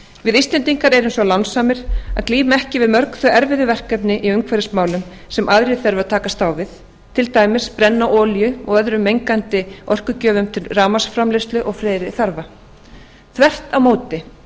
við íslendingar erum svo lánsamir að glíma ekki við mörg þau erfiðu verkefni í umhverfismálum sem aðrir þurfa að takast á við til dæmis brenna olíu og öðrum mengandi orkugjöfum til rafmagnsframleiðslu og fleiri þarfa þvert á móti